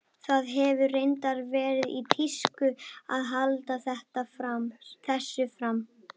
Það hefur reyndar verið í tísku að halda þessu fram.